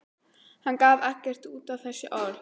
Hann gaf ekkert út á þessi orð.